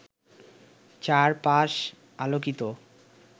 চার পাশ আলোকিত